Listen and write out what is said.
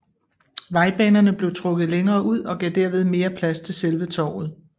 Vejbanerne blev trukket længere ud og gav derved mere plads til selve torvet